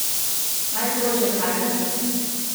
Najstrožja kazen?